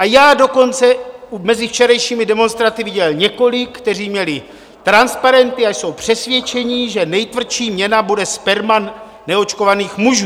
A já dokonce mezi včerejšími demonstranty viděl několik, kteří měli transparenty a jsou přesvědčeni, že nejtvrdší měna bude sperma neočkovaných mužů.